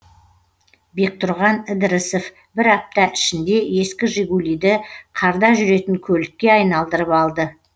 бектұрған ідірісов бір апта ішінде ескі жигулиді қарда жүретін көлікке айналдырып алды